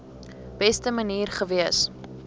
beste manier gewees